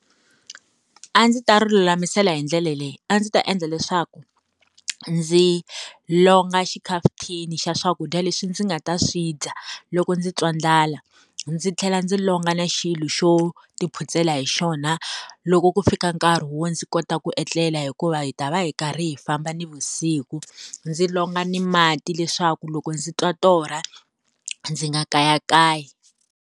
A ndzi ta ri lulamisela hi ndlela leyi a ndzi ta endla leswaku ndzi longa xikhafuthini xa swakudya leswi ndzi nga ta swi dya loko ndzi twa ndlala ndzi tlhela ndzi longa na xilo xo tiphutsela hi xona loko ku fika nkarhi wo ndzi kota ku etlela hikuva hi ta va hi karhi hi famba nivusiku ndzi longa ni mati leswaku loko ndzi twa torha ndzi nga kayakayi.